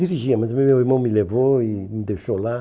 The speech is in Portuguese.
Dirigia, mas meu irmão me levou e me deixou lá.